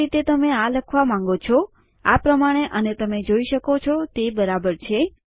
જે રીતે તમે આ લખવા માંગો છો આ પ્રમાણે અને તમે જોઈ શકો છો તે બરાબર છે